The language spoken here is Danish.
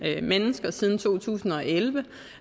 mennesker siden to tusind og elleve